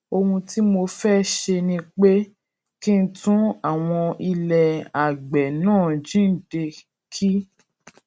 ohun tí mo fé ṣe ni pé kí n tún àwọn ilè àgbè náà jíǹde kí